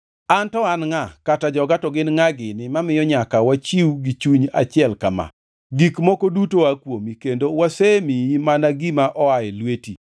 “An to an ngʼa, kata joga to gin ngʼa gini, mamiyo nyaka wachiw gi chuny achiel ka ma? Gik moko duto aa kuomi, kendo wasemiyi mana gima oa e lweti